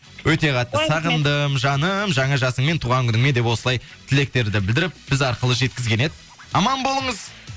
өте қатты сағындым жаным жаңа жасыңмен туған күніңмен деп осылай тілектерді білдіріп біз арқылы жеткізген еді аман болыңыз